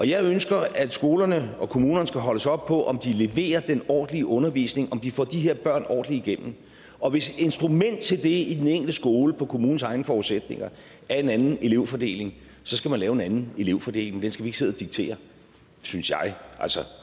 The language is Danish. jeg ønsker at skolerne og kommunerne skal holdes op på om de leverer den ordentlige undervisning om de får de her børn ordentligt igennem og hvis et instrument til det i den enkelte skole på kommunens egne forudsætninger er en anden elevfordeling skal man lave en anden elevfordeling den skal vi ikke sidde og diktere synes jeg altså